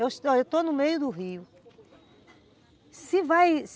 Eu estou no meio do rio.